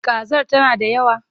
Kazar tana da yawa?